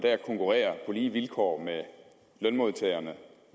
konkurrere på lige vilkår med lønmodtagerne